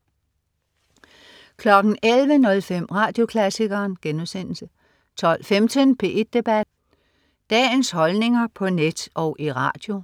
11.05 Radioklassikeren* 12.15 P1 Debat. Dagens holdninger på net og i radio